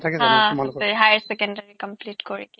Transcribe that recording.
হা তোমাৰ লগত আছে হায়াৰ ছেকেণ্ডদাৰী complete কৰি